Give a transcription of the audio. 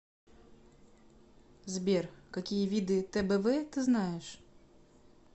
сбер какие виды тбв ты знаешь